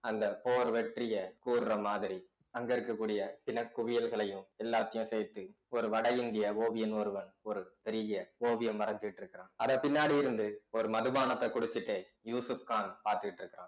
அந்த போர் வெற்றியை கூறுற மாதிரி அங்க இருக்கக்கூடிய பிணக் குவியல்களையும் எல்லாத்தையும் சேர்த்து ஒரு வட இந்திய ஓவியன் ஒருவன் ஒரு பெரிய ஓவியம் வரைஞ்சுட்டிருக்கிறான் அதப் பின்னாடி இருந்து ஒரு மதுபானத்தை குடிச்சிட்டு யூசுப்கான் பார்த்துட்டு இருக்கிறான்